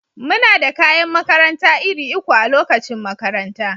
Muna da kayan makaranta iri uku a lokacin makaranta.